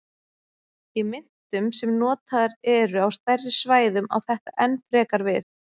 Í myntum sem notaðar eru á stærri svæðum á þetta enn frekar við.